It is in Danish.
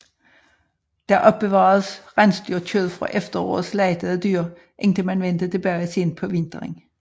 Der opbevaredes rensdyrkød fra efterårets slagtede dyr indtil man vendte tilbage sent på vinteren